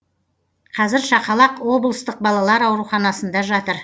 қазір шақалақ облыстық балалар ауруханасында жатыр